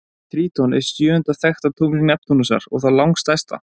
Tríton er sjöunda þekkta tungl Neptúnusar og það langstærsta.